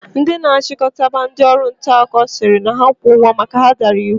Ndi na achikotaba ndi Ọrụ ntaakụkọ siri ha kwo ugwo maka na ha dara iwu